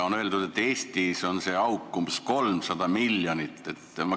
On öeldud, et Eestis on see auk umbes 300 miljonit.